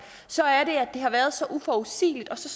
så er det at det har været så uforudsigeligt og så